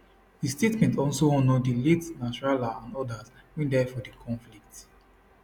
di statement also honour di late nasrallah and odas wey die for di conflict